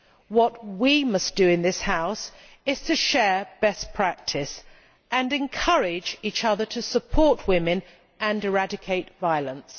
What we must do in this House is to share best practice and encourage each other to support women and eradicate violence.